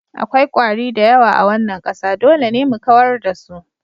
Akwai kwari da yawa a wannan ƙasa, dole ne mu kawar da su.